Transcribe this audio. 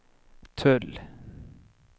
tull